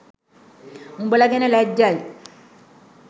උඔල ගැන ලැජ්ජයි